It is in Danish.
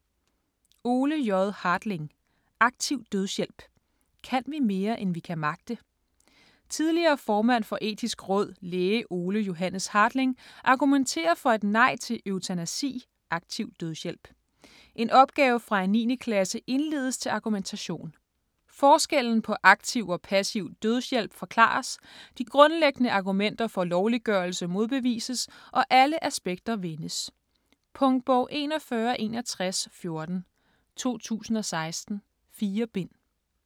Hartling, Ole J.: Aktiv dødshjælp: kan vi mere, end vi kan magte? Tidligere formand for Etisk Råd, læge Ole Johannes Hartling, argumenterer for et nej til eutanasi (aktiv dødshjælp). En opgave fra en 9. klasse indledes til argumentation. Forskellen på aktiv og passiv dødshjælp forklares, de grundlæggende argumenter for lovliggørelse modbevises, og alle aspekter vendes. Punktbog 416114 2016. 4 bind.